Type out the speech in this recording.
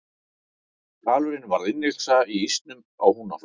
hvalurinn varð innlyksa í ísnum á húnaflóa